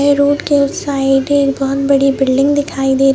road के उस side बहोत बड़ी बिल्डिंग दिखाई दे रही--